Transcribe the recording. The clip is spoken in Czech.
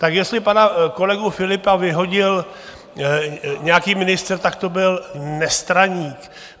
Tak jestli pana kolegu Philippa vyhodil nějaký ministr, tak to byl nestraník.